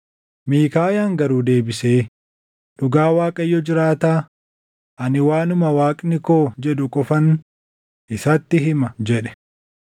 Miikaayaan garuu deebisee, “Dhugaa Waaqayyo jiraataa, ani waanuma Waaqni koo jedhu qofan isatti hima” jedhe.